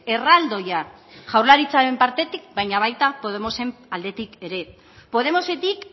erraldoia jaurlaritzaren partetik baina baita podemosen aldetik ere podemosetik